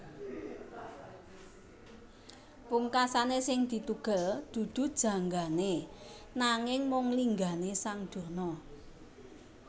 Pungkasané sing ditugel dudu janggané nanging mung linggané sang Durna